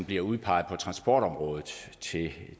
bliver udpeget på transportområdet til at